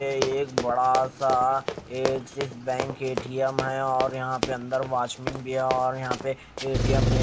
एक बड़ा सा एक्सिस बैंक एटीएम है और यहाँ पे अंदर वाचमैन भी है और यहाँ पे ए_ टी_ एम_ में--